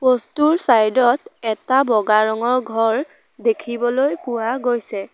Post টোৰ side ত এটা বগা ৰঙৰ ঘৰ দেখিবলৈ পোৱা গৈছে।